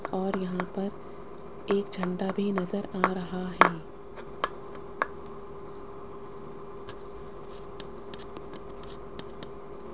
और यहां पर एक झंडा भी नजर आ रहा है।